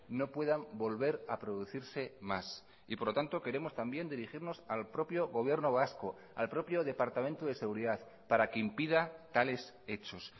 no puedan volver a producirse más y por lo tanto queremos también dirigirnos al propio gobierno vasco al propio departamento de seguridad para que impida tales hechos